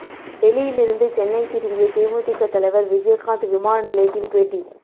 டெல்லியிலிருந்து சென்னை திரும்பிய தேமுதிக தலைவர் விஜயகாந்த் விமான நிலையத்தில் பேட்டி